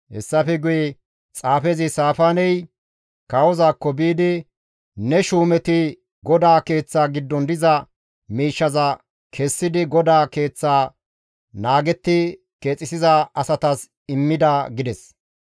Hessafe guye xaafezi Saafaaney kawozaakko biidi, «Ne shuumeti GODAA Keeththa giddon diza miishshaza kessidi GODAA Keeththa naagetti keexisiza asatas immida» gides.